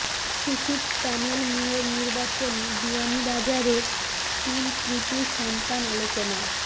সিসিক panel mayor নির্বাচনে বিয়ানীবাজারের তিন কৃতি সন্তান আলোচনায়